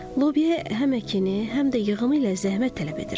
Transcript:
Lobyaya həm əkini, həm də yığımı ilə zəhmət tələb edir.